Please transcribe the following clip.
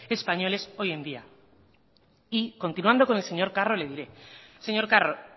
españoles hoy en día y continuando con el señor carro le diré señor carro